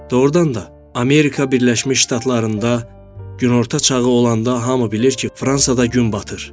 Doğurdan da, Amerika Birləşmiş Ştatlarında günorta çağı olanda hamı bilir ki, Fransada gün batır.